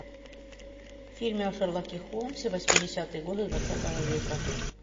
фильмы о шерлоке холмсе восьмидесятые годы двадцатого века